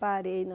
Parei na...